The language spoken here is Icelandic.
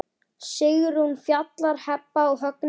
Sigrún, Fjalar, Heba og Högni.